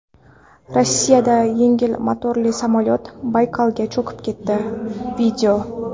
Rossiyada yengil motorli samolyot Baykalga cho‘kib ketdi.